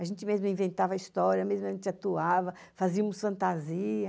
A gente mesmo inventava a histórias, mesmo, a gente atuava, fazíamos fantasia.